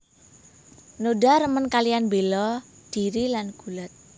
Noda remen kaliyan bela dhiri lan gulat